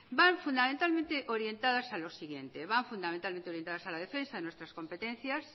van fundamentalmente orientadas a lo siguiente orientadas a la defensa de nuestras competencias